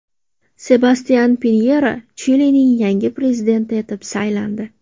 Sebastyan Pinyera Chilining yangi prezidenti etib saylandi.